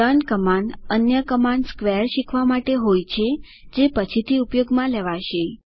learn command અન્ય command square શીખવા માટે હોય છે જે પછીથી ઉપયોગમાં લેવાશે